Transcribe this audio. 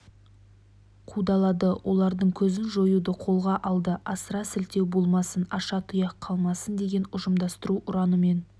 қудалады олардың көзін жоюды қолға алды асыра сілтеу болмасын аша тұяқ қалмасын деген ұжымдастыру ұранымен